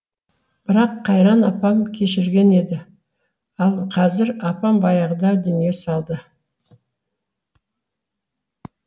бірақ қайран апам кешірген еді ал қазір апам баяғыда дүние салды